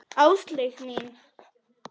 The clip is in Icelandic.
Áslaug mín!